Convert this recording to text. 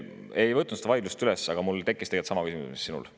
Ma ei võtnud vaidlust üles, aga mul tekkis tegelikult sama küsimus, mis sinul.